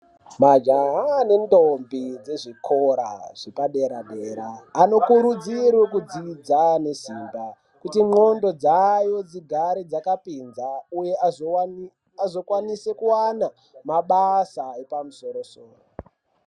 Majaha nendombi dzezvikora zvepadera dera anokurudzirwa kudzidza nesimba kuti ndxondo dzavo dzigare dzakapinza agokwanise kuwana mabasa yepamusoro soro.